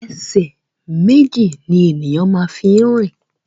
Ẹsẹ̀ méjì ni ènìyàn fi máa ń rìn